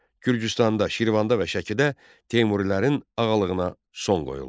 Gürcüstanda, Şirvanda və Şəkidə Teymurilərin ağalığına son qoyuldu.